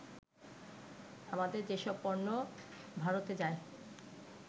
আমাদের যেসব পণ্য ভারতে যায়